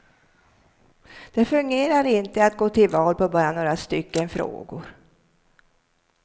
Det fungerar inte att gå till val på bara några stycken frågor.